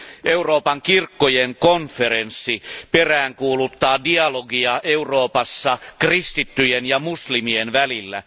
Euroopan kirkkojen konferenssi peräänkuuluttaa dialogia Euroopassa kristittyjen ja muslimien välillä.